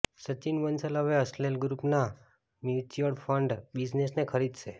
સચિન બંસલ હવે અસ્સેલ ગ્રુપના mutual fund બિઝનસને ખરીદશે